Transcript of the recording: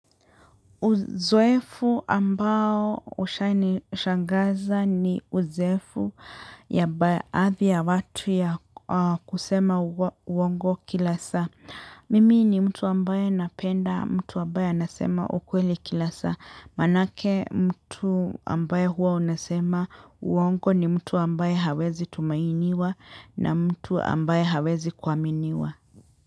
Uzoefu ambao ushangaza ni uzoefu yambae athi ya watu ya kusema uongo kila saa. Mimi ni mtu ambaye napenda mtu ambaye anasema ukweli kila saa. Manake mtu ambayo huwa unasema uongo ni mtu ambaye hawezi tumainiwa na mtu ambaye hawezi kuaminiwa.